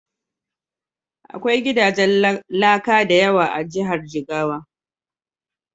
Akwai gidajen laka da yawa a Jihar Jigawa.